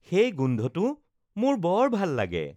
সেই গোন্ধটো মোৰ বৰ ভাল লাগে